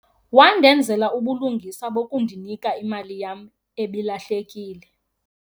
Wandenzela ubulungisa bokunikika imali yam ebilahlekile.